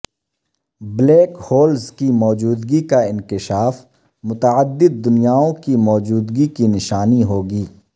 black holes کی موجودگی کا انکشاف متعدد دنیاوں کی موجودگی کی نشانی ہو گی